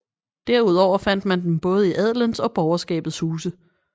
Derudover fandt man dem både i adelens og borgerskabets huse